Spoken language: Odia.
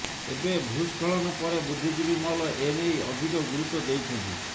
ଏବେ ଭୂସ୍ଖଳନ ପରେ ବୁଦ୍ଧିଜୀବୀ ମହଲ ଏନେଇ ଅଧିକ ଗୁରୁତ୍ୱ ଦେଇଛନ୍ତି